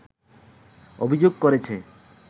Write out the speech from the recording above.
অভিযোগ করেছে